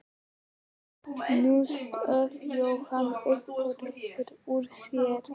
Nú stóð Jóhann upp og rétti úr sér.